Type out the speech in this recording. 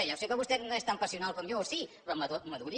ja sé que vostè no és tan passional com jo o sí però maduri